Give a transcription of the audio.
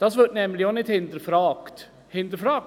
Dieser wird nämlich auch nicht hinterfragt.